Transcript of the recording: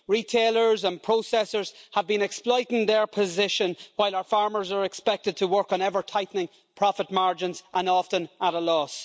Retailers and processors have been exploiting their position, while our farmers are expected to work on ever tightening profit margins and often at a loss.